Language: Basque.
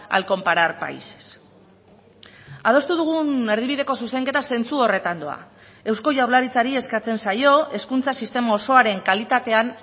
al comparar países adostu dugun erdibideko zuzenketa zentsu horretan doa eusko jaurlaritzari eskatzen zaio hezkuntza sistema osoaren kalitatean